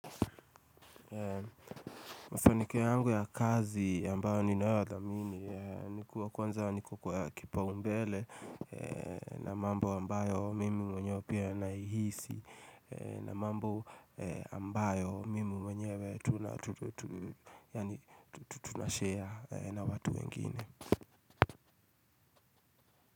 Mafanikio yangu ya kazi ambayo ninayoyadhamini Kwanza kuwa nikuwa kipaombele na mambo ambayo mimi mwenyewe pia naihisi na mambo ambayo mimi mwenyewe tunashare na watu wengine.